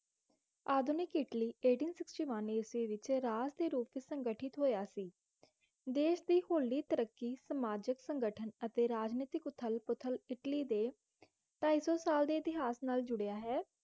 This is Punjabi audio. ਆਧੁਨਿਕ ਇੱਟਲੀ eighteen sixteen one ਵਿਚ ਰਾਜ ਦੇ ਰੂਪੰ ਵਿਚ ਸੰਗਠਿਤ ਹੋਇਆ ਸੀ ਦੇਸ਼ ਦੀ ਤਰੱਕੀ ਸਮਾਜਿਕ ਸੰਗਠਨ ਅਤੇ ਰਾਜਨੀਤਿਕ ਉਥਲ -ਪੁਥਲ ਇਟਲੀ ਦੇ ਢਾਈਸੋ ਸਾਲ ਦੇ ਇਤਿਹਾਸ ਜੁੜਿਆ ਹੈ